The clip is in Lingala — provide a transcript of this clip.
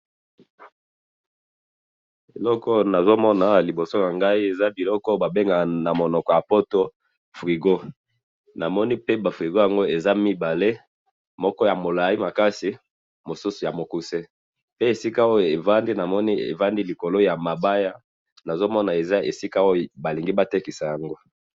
Namoni ba frigo mibale likolo ya mabaya moko ya mulai, mosusu ya mokuse, emonani baza koteka yango.